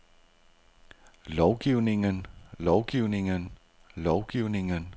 lovgivningen lovgivningen lovgivningen